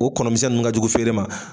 O kɔnɔ misɛn nunnu ka jugu feere ma